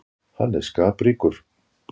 Hann er skapríkur.